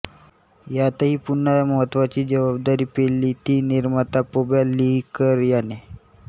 यातही पुन्हा महत्त्वाची जबाबदारी पेलली ती निर्माता पब्या लिकर याने